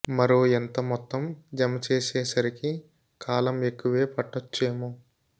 మరో ఎంత మొత్తం జమ చేసే సరికి కాలం ఎక్కువే పట్టోచేమే